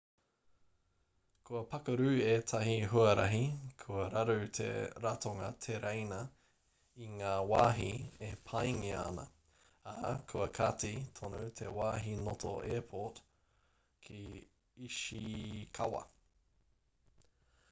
kua pakaru ētahi huarahi kua raru te ratonga tereina i ngā wāhi e pāngia ana ā kua kati tonu te wāhi noto airport ki ishikawa